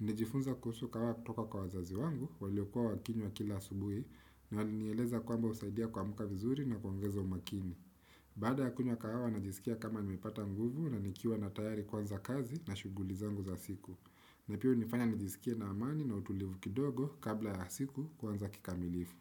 Nilijifunza kuhusu kahawa kutoka kwa wazazi wangu, waliokuwa wakinya kila subuhi, na wali nieleza kwamba usaidia kuamuka vizuri na kuwongeza umakini. Bada ya kunwa kahawa, najisikia kama nimepata nguvu na nikiwa na tayari kwanza kazi na shugulizangu za siku. Na pia unifanya nijisikia na amani na utulivu kidogo kabla ya siku kwanza kikamilifu.